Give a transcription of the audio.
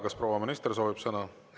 Kas proua minister soovib sõna?